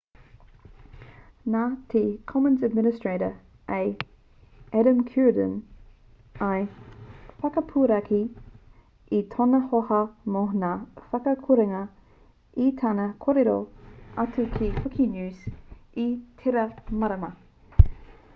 nā te commons administrator a adam cuerden i whakapuaki i tōna hōhā mō ngā whakakorenga i tana kōrero atu ki wikinews i tērā marama